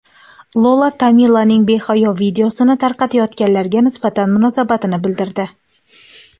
Lola Tamilaning behayo videosini tarqatayotganlarga nisbatan munosabatini bildirdi.